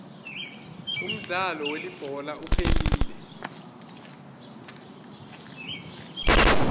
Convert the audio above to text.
umdlalo welibhola uphelile